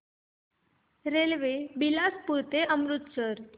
railway Bilaspur ते अमृतसर